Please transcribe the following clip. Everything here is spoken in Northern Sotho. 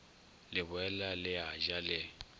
leboela le a ja le